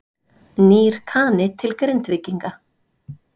Nýr Kani til Grindvíkinga